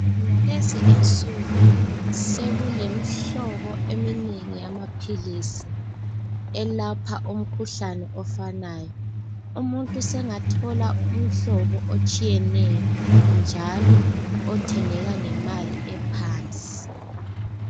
Ngalezi insuku sekulemihlobo eminengi yamaphilisi elapha umkhuhlane ofanayo umuntu sengathola umhlobo otshiyeneyo njalo othengeka ngemali ephansi